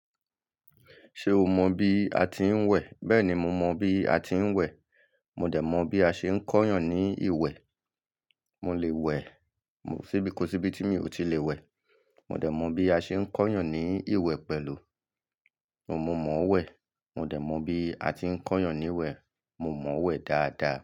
Ṣé o mọ bí a ti ń wẹ̀? Bẹ́ẹ̀ni, mo mọ bí a ti ń wẹ̀. Mo dẹ̀ mọ̀ bí a ṣe ń kọ́yàn ní ìwẹ̀. Mo lè wẹ̀ síbìkó síbi tí mi ò tí lè wẹ̀. Mo dẹ̀ mọ̀ bí a ṣe ń kọ́yàn ní ìwẹ̀ pẹ̀lú. Mo mọ̀ wẹ̀. Mo dẹ̀ mọ̀ bí a ti ń kọ́yàn ní wẹ̀. Mo mọ̀ wẹ̀ dáadáa.